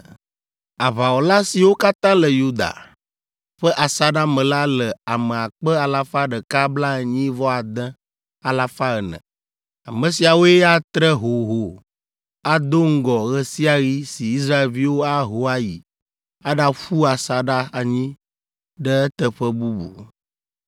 Aʋawɔla siwo katã le Yuda ƒe asaɖa me la le ame akpe alafa ɖeka blaenyi-vɔ-ade alafa ene (186,400). Ame siawoe atre hoho, ado ŋgɔ ɣe sia ɣi si Israelviwo aho ayi aɖaƒu asaɖa anyi ɖe teƒe bubu.